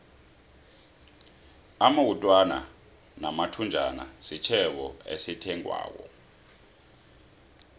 amawutwana namathunjana sitjhebo esithengwako